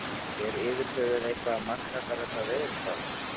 Er yfir höfuð eitthvað að marka allar þessar veðurspár?